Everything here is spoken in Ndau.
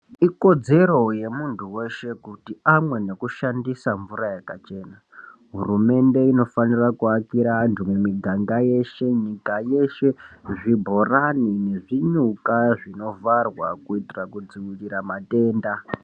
Ikodzero yemuntu weshe kuti amwe nekushandisa mvura yakachena. Hurumende inofanira kuvakira vantu mumiganga yeshe nyika yeshe zvibhorani nezvinyuka zvinovharwa kuitira kudzivirira matenda.